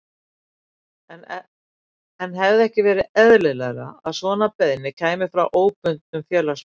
Jóhann: En hefði ekki verið eðlilegra að svona beiðni kæmi frá óbundnum félagsmönnum?